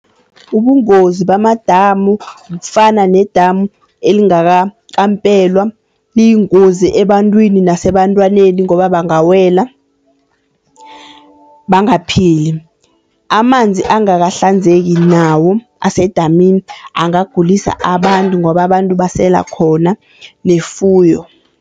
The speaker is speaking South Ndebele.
Ubungozi bamadamu kufana nedamu elingakakampelwa, liyingozi ebantwini nasebantwaneni ngoba bangawela bangaphili. Amanzi angakahlanzeki nawo asedamini angagulisa abantu ngoba abantu basela khona nefuyo.